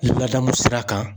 Ladamu sira kan